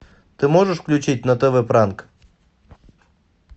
ты можешь включить на тв пранк